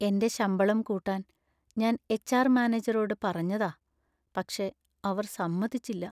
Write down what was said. എന്‍റെ ശമ്പളം കൂട്ടാൻ ഞാൻ എച്ച്.ആർ. മാനേജറോട് പറഞ്ഞതാ, പക്ഷെ അവർ സമ്മതിച്ചില്ല.